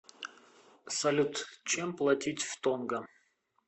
салют чем платить в тонга